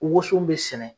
Woson bɛ sɛnɛ